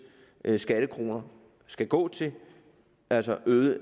skattekroner skal gå til altså øgede